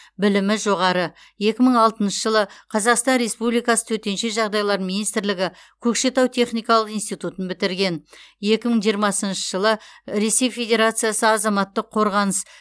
білімі жоғары екі мың алтыншы жылы қазақстан республикасы төтенше жағдайлар министрлігі көкшетау техникалық институтын бітірген екі мың жиырмасыншы жылы ресей федерациясы азаматтық қорғаныс